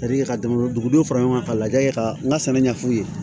ka dama dugudɔw fara ɲɔgɔn kan ka lajɛ ka n ka sɛnɛ ɲɛf'u ye